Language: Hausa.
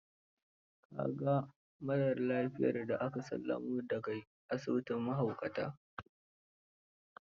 Ka ga marar lafiyar da aka sallamo da ga asibitin mahaukatan?